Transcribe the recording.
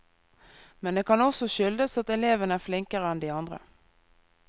Men det kan også skyldes at eleven er flinkere enn de andre.